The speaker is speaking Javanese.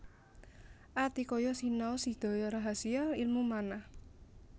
Atikaya sinaos sedaya rahasia ilmu manah